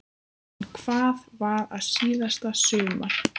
En hvað var að síðasta sumar?